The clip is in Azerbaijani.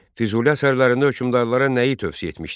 Füzuli əsərlərini hökmdarlara nəyi tövsiyə etmişdir?